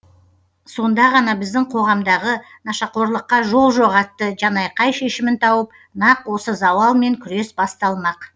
сонда ғана біздің қоғамдағы нашақорлыққа жол жоқ атты жанайқай шешімін тауып нақ осы зауалмен күрес басталмақ